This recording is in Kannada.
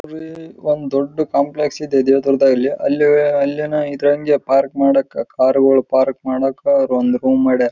ಇದು ಇದರಲ್ಲಿ ಪಾರ್ಕಿಂಗ್ ಆಗಿದೆ ಇದರಲ್ಲಿ ಸುಮಾರು ಕಾರುಗಳು ನಿಂತಿದ್ದಾರೆ ಹಿಂದೆ ಮುಂದೆ ಎಲ್ಲಾ ಕಾರುಗಳು ಇದೆ.